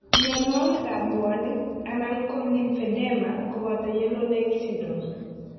Myonwogik ab bwonik anan ko lymphedema koboto Yellow nail syndrome